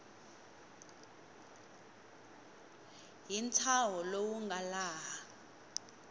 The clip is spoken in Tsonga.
hi ntshaho lowu nga laha